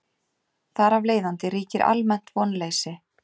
Þar af leiðandi ríkir almennt vonleysi.